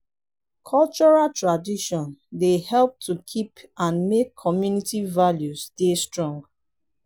cultural tradion dey help to keep and make community values dey strong